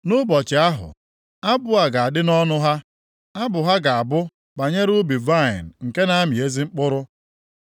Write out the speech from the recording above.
Nʼụbọchị ahụ, abụ a ga-adị nʼọnụ ha, abụ ha ga-abụ banyere ubi vaịnị nke na-amị ezi mkpụrụ.